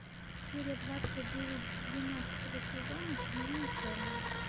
серия двадцать девять двенадцатого сезона темнее черного